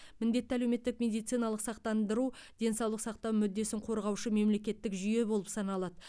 міндетті әлеуметтік медициналық сақтандыру денсаулық сақтау мүддесін қорғаушы мемлекеттік жүйе болып саналады